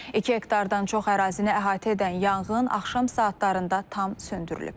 İki hektardan çox ərazini əhatə edən yanğın axşam saatlarında tam söndürülüb.